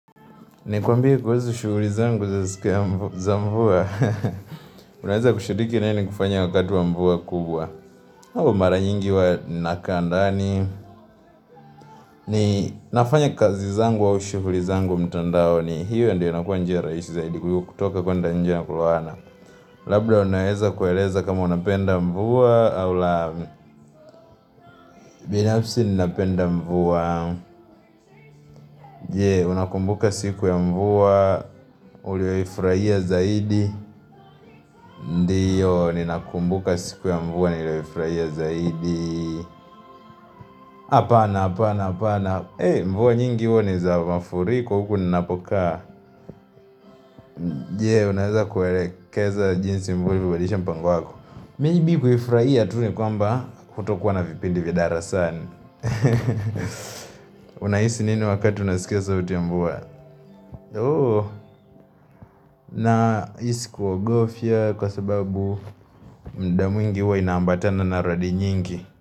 Nikwambie kuhusu shughuli zangu za siku ya mvua. Unaweza kushiriki nae nikifanya wakati wa mvua kubwa. Au mara nyingi huwa nakaa ndani. Ni, nafanya kazi zangu wa shughuli zangu mtandaoni hiyo ndiyo inakuwa njia rahisi zaidi. Kutoka kuenda nje na kulala. Labda unaweza kueleza kama unapenda mvua. Au la, binafsi ninapenda mvua. Je, unakumbuka siku ya mvua? Ulioifurahia zaidi. Ndiyo, ninakumbuka siku ya mvua nilioifurahia zaidi Apana, apana, apana mvua nyingi huwa ni za mafuriko, huku ninapokaa Je, unaweza kuelekeza jinsi mvua ilivyorudisha mpango wako. Maybe kuifurahia tu ni kwamba hakutokuwa na vipindi vya darasani Unahisi nini wakati unasikia sauti ya mvua? Ooh, nahisi kuogofia kwa sababu muda mwingi huwa ina ambatana na radi nyingi.